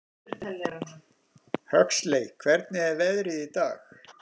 Huxley, hvernig er veðrið í dag?